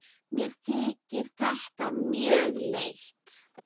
Mér þykir þetta mjög leitt.